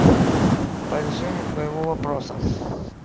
по решению твоего вопроса